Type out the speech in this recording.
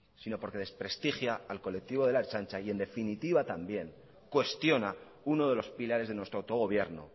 sino porque desprestigia al colectivo de la ertzaintza y en definitiva también cuestiona uno de los pilares de nuestro autogobierno